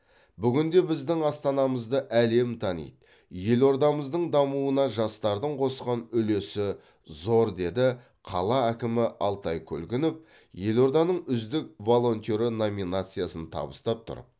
бүгінде біздің астанамызды әлем таниды елордамыздың дамуына жастардың қосқан үлесі зор деді қала әкімі алтай көлгінов елорданың үздік волонтеры номинациясын табыстап тұрып